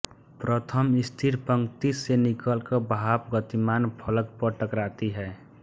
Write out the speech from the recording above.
प्रथम स्थिर पंक्ति से निकलकर भाप गतिमान फलक पर टकराती है